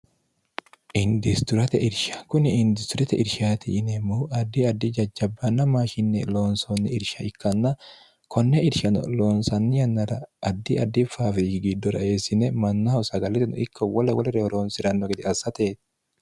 indisturate irsha kuni industirete irshaati yineemmohu addi addi jajjabbaanna maashinne loonsoonni irsha ikkanna konne irshao loonsanni yannara addi addi faafiyi giddo ra eessine mannaho sagallitenno ikkowwolla wole reyoroonsi'ranno gede assate